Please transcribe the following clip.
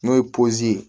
N'o ye ye